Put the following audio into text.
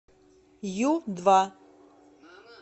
ю два